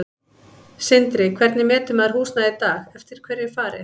Sindri: Hvernig metur maður húsnæði í dag, eftir hverju er farið?